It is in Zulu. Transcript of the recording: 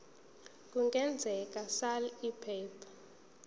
lokwengeza sal iphepha